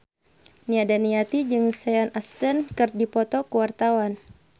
Nia Daniati jeung Sean Astin keur dipoto ku wartawan